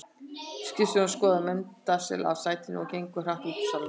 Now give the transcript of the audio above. Skipstjórinn skorðar Mensalder af í sætinu og gengur hratt út úr salnum.